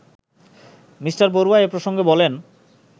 me Barua এ প্রসঙ্গে বলেন